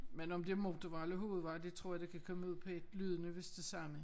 Men om det motorvej eller hovedvej det tror jeg kan komme ud på ét lyden er vist det samme